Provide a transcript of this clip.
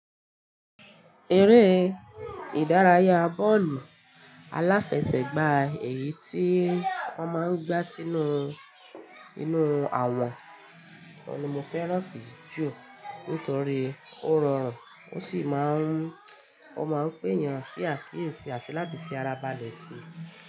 Eré ìdárayá bọ́ọ̀lù aláfẹsẹ̀gbá èyí tí wọ́n máa ń gbá sínú inú àwọ̀n ni mo fẹ́ràn sì jù nítorí ó rọrùn, ó sì máa ń, ó máa ń péyàn sí àkíyèsí àti láti fi ara balẹ̀ sí.